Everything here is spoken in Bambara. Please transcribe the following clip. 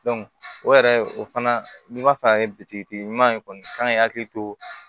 o yɛrɛ o fana n'i b'a fɛ ka kɛ bitikitigi ɲuman ye kɔni k'an hakili to